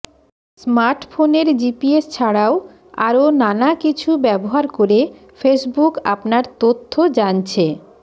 স্মার্টফোনের জিপিএস ছাড়াও আরও নানা কিছু ব্যবহার করে ফেসবুক আপনার তথ্য জানছে